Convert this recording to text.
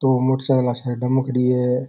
दो मोटर साइकिला साइड मै खड़ी है।